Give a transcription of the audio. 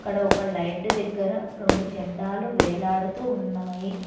ఇక్కడ ఒక లైట్ దగ్గర రెండు జెండాలు వేలాడుతు ఉన్నాయి.